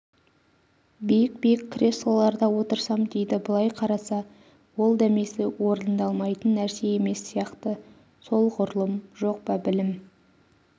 биік-биік креслоларда отырсам дейді былай қараса ол дәмесі орындалмайтын нәрсе емес сияқты солғұрлым жоқ па білім